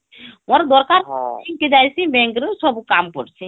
ମୋର ଦରକାର ହମ୍bank ରୁ ସବୁ କାମ କରଛି